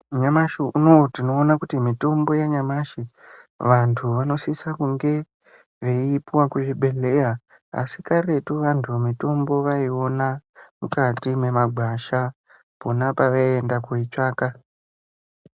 Nyamushi unou tinoona kuti mitombo yanyamashi vanhu vanosise kunge veiipuwe kuzvibhedhlera asi karetu mitombo vanhu vaiiona mukati mwemagwasha pona pavaienda koitsvaka.